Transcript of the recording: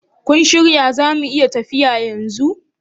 Kun shirya zamu iya tafiya yanzu?